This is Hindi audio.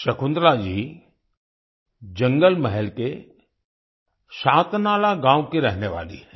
शकुंतला जी जंगल महल के शातनाला गांव की रहने वाली हैं